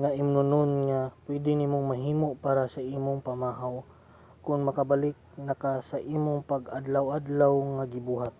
nga imnonon nga pwede nimong mahimo para sa imong pamahaw kon makabalik na ka sa imong pang-adlaw-adlaw nga ginabuhat